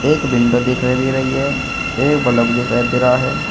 एक विंडो दिखाई दे रही है। एक बलफ दिखाई दे रहा है।